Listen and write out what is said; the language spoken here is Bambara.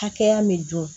Hakɛya min don